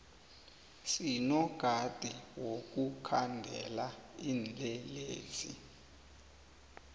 sinombadi wokukhandela tinlelesi